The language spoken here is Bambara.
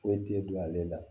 Foyi t'e don ale la